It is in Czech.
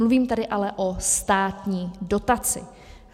Mluvím tady ale o státní dotaci.